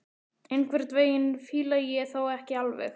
Einhvern veginn fíla ég þá ekki alveg.